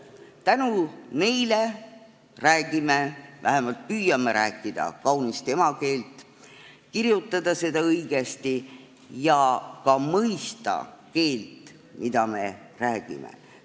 Tänu neile räägime – vähemalt püüame rääkida – kaunist emakeelt ning kirjutada seda õigesti ja ka mõista seda keelt, mida me räägime.